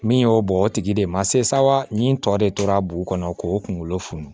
Min y'o bɔ o tigi de ma se sawa ni tɔ de tora dugu kɔnɔ k'o kunkolo funu